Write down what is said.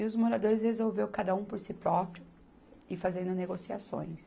E os moradores resolveu cada um por si próprio ir fazendo negociações.